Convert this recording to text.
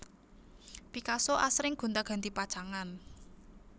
Picasso asring gonti ganti pacangan